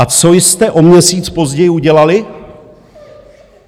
A co jste o měsíc později udělali?